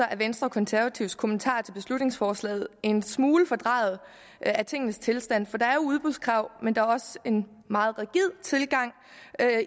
er venstre og konservatives kommentarer til beslutningsforslaget udtryk for en smule fordrejning af tingenes tilstand der er jo udbudskrav men der er også en meget rigid tilgang